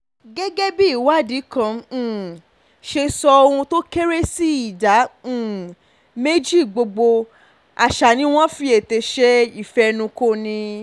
gẹ́gẹ́ bí ìwádìí kan um ṣe sọ ohun tó kéré sí ìdá um méjì gbogbo àṣà ni wọ́n fi ètè ṣe ìfẹnukọni